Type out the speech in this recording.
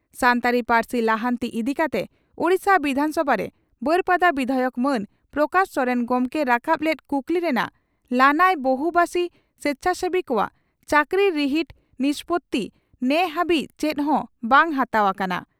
ᱥᱟᱱᱛᱟᱲᱤ ᱯᱟᱹᱨᱥᱤ ᱞᱟᱦᱟᱱᱛᱤ ᱤᱫᱤᱠᱟᱛᱮ ᱳᱰᱤᱥᱟ ᱵᱤᱫᱷᱟᱱᱥᱚᱵᱷᱟᱨᱮ ᱵᱟᱹᱨᱯᱟᱫᱟ ᱵᱤᱫᱷᱟᱭᱚᱠ ᱢᱟᱱ ᱯᱨᱚᱠᱟᱥ ᱥᱚᱨᱮᱱ ᱜᱚᱢᱠᱮ ᱨᱟᱠᱟᱵ ᱞᱮᱫ ᱠᱩᱠᱞᱤ ᱨᱮᱱᱟᱜ ᱞᱟᱹᱱᱟᱹᱭ ᱵᱚᱦᱩᱵᱟᱥᱤ ᱥᱮᱪᱷᱟᱥᱮᱵᱤ ᱠᱚᱣᱟᱜ ᱪᱟᱹᱠᱨᱤ ᱨᱤᱦᱤᱴ ᱱᱤᱥᱯᱳᱛᱤ ᱱᱮᱦᱟᱹᱵᱤᱡ ᱪᱮᱫ ᱦᱚᱸ ᱵᱟᱝ ᱦᱟᱛᱟᱣ ᱟᱠᱟᱱᱟ